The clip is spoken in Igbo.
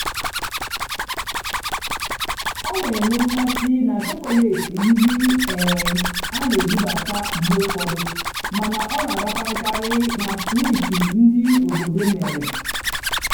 ọ́ nà-ènwé mmásị́ nà chọ́kọ́létị́ ndí um á nà-èbúbátá mgbe ụ́fọ̀dụ́ màná ọ́ nà-àràpàràkarị́ nà swíítì ndí óbòdò mèrè.